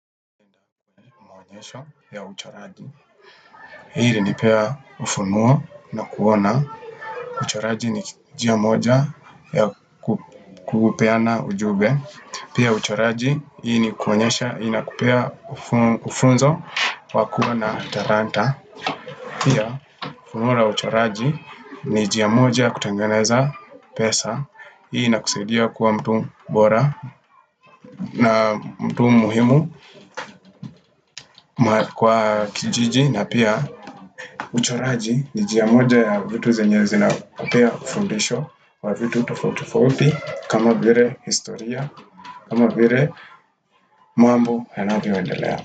Ya uchoraji hii nanipea ufunuo na kuona uchoraji ni jia moja ya kukupeana ujube pia uchoraji hii ni kuonyesha inakupea ufunzo wakua na taranta pia ufunuo na uchoraji ni jia moja kutengeneza pesa hii na kusaidia kuwa mtu bora na mtu muhimu kwa kijiji na pia uchoraji ni njia moja ya vitu zenye zina kupea kufundisho wa vitu tofauti tofauti kama vire historia, kama vire mambo yanavyoendelea.